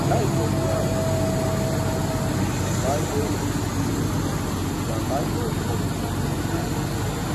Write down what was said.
láìtẹlé àwọn òfin ìrìnnà ìjàmbá yóò ìrìnnà ìjàmbá yóò pọ lójú pópó